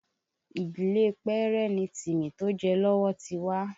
Ìdílé Pẹ́rẹ́ ni Timi tó jẹ lọ́wọ́ ti wá